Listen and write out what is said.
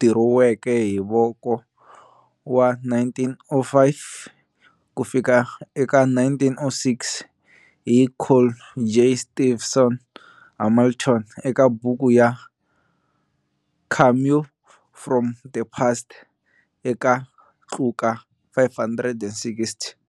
dirowiweke hi voko wa 1905-1906 hi Col J. Stevenson-Hamilton eka buku ya 'Cameo from the Past' eka tluka 560.